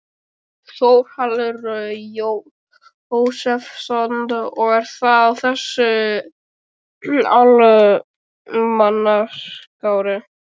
Þórhallur Jósefsson: Og er það á þessu almanaksári?